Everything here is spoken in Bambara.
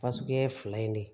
Fasugu ye fila in de ye